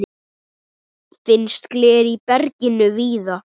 Finnst gler í berginu víða.